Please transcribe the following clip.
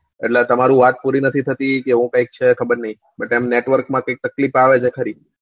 એટલે તમારી વાત પૂરી નથી થતી કે એવું કૈક છે ખબર ની but એમ network માં કૈક તકલીફ આવે છે ખરી